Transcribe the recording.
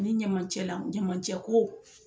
Ni ɲamancɛ la ɲamancɛ ko